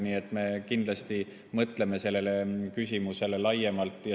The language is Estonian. Nii et me kindlasti mõtleme sellele küsimusele laiemalt.